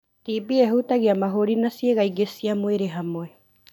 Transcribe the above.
TB ĩhutagia mahũri na cĩiga ingĩ cia mwĩrĩ hamwe.